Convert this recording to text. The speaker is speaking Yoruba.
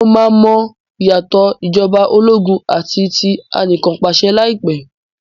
Mo máa mọ ìyàtọ̀ ìjọba ológun àti ti anìkanpàṣẹ lai pẹ̀